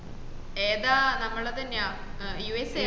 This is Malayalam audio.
ഏതാ നമ്മളതന്നെ USA